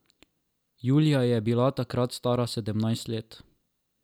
Julija je bila takrat stara sedemnajst let.